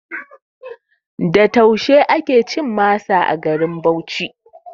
Da taushe ake cin masa a garin Bauchi